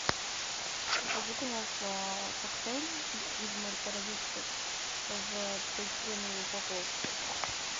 закажи пожалуйста коктейль из морепродуктов в полиэтиленовой упаковке